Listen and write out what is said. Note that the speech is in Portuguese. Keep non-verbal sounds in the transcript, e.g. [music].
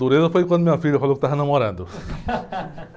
Dureza foi quando minha filha falou que estava namorando. [laughs]